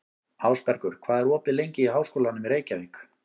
Ásbergur, hvað er opið lengi í Háskólanum í Reykjavík?